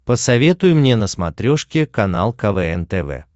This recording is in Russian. посоветуй мне на смотрешке канал квн тв